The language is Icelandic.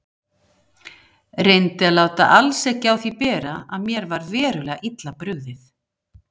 Reyndi að láta alls ekki á því bera að mér var verulega illa brugðið.